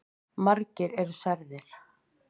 Margir eru særðir.